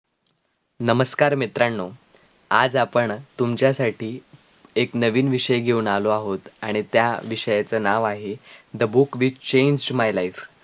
नमस्कार मित्रानो आज आपण तुमच्यासाठी एक नवीन विषय घेऊन आलो आहोत आणि त्या विषयाचं नाव आहे the book with change my life